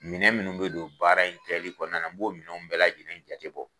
Minɛn minnu be don baara in kɛli kɔnɔna na n b'o minɛnw bɛɛ lajate jate bɔ